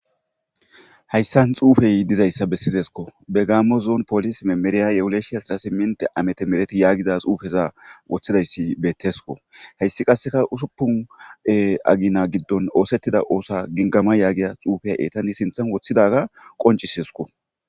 hayssan xuufey dizayssa bessizesko begaammo zoon polis memeriyayewuleeshiyasrasi minte amete mereti yaagiza xuufeza woththidayssi bettesko heyssi qasseka usuppune agina giddon oosettida oosa gingama yaagia xuufey eetai sinthan woththidaga qoncisesko